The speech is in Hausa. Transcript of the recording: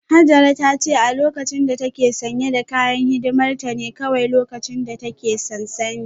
Hajara ta ce a lokacin da ta ke sanye da kayan hidimar ta ne kawai lokacin da ta ke sansanin